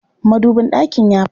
Madubin ɗakin ya fashe.